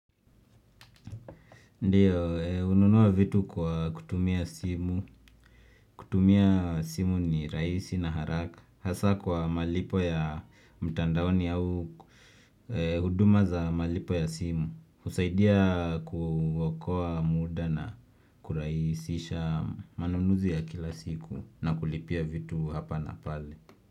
Ndiyo, hununua vitu kwa kutumia simu kutumia simu ni rahisi na haraka Hasa kwa malipo ya mtandaoni au huduma za malipo ya simu husaidia kuokoa muda na kurahisisha manunuzi ya kila siku na kulipia vitu hapa na pale.